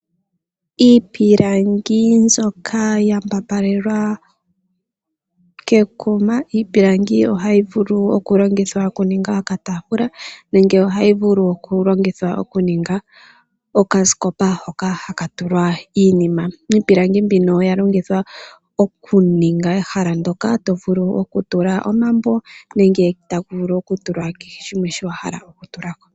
Iipilangi mbyoka ya mbambalelwa kekuma. Iipilangi ohayi vulu okulongithwa okuninga okataafula nenge ohayi vulu okulongithwa okuninga okasikopa hoka haka tulwa iinima. Iipilangi mbyoka oya longithwa okuninga ehala ndyoka to vulu okutula omambo nenge kehe shimwe shoka wa hala okutula ko.